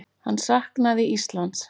Hann saknaði Íslands.